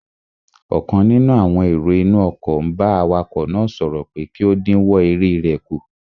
Ọ̀kan nínú àwọn èrò inú ọkọ̀ n bá awakọ̀ náà sọ̀rọ̀ pé kí ó dínwọ́ eré rẹ̀ kù